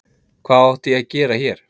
Hvað átti ég að gera hér?